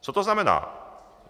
Co to znamená?